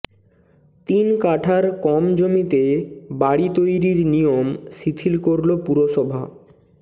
তিন কাঠার কম জমিতে বাড়ি তৈরির নিয়ম শিথিল করল পুরসভা